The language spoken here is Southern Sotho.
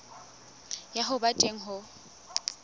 ya ho ba teng ho